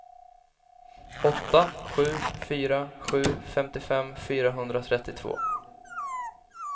åtta sju fyra sju femtiofem fyrahundratrettiotvå